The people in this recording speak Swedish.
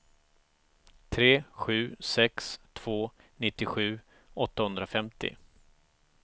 tre sju sex två nittiosju åttahundrafemtio